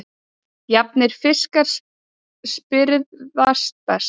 Jafnir fiskar spyrðast best.